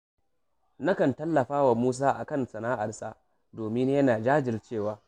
Nakan tallafa wa Musa a kan sana’arsa, domin yana jajircewa